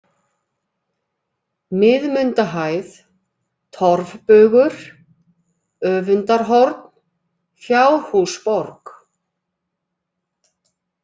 Miðmundahæð, Torfbugur, Öfundarhorn, Fjárhúsborg